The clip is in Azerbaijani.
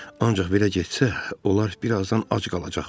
Ancaq belə getsə, onlar bir azdan ac qalacaqdılar.